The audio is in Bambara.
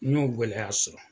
N y'o gɛlɛya sɔrɔ